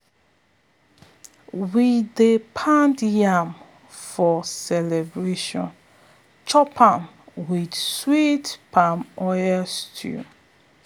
we dey pound yam for celebration chop am with sweet palm oil stew.